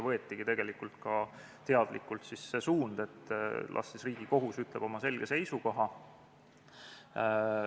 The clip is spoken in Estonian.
Võetigi teadlikult see suund, et las Riigikohus ütleb oma selge seisukoha.